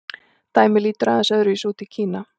Dæmið lítur aðeins öðru vísi út í Kína.